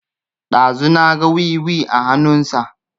Ɗazu na ga wiwi a hanun sa